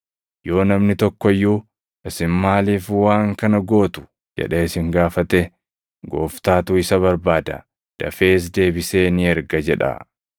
Yoo namni tokko iyyuu, ‘Isin maaliif waan kana gootu?’ jedhee isin gaafate, ‘Gooftaatu isa barbaada; dafees deebisee ni erga’ jedhaa.”